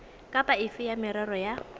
kapa efe ya merero ya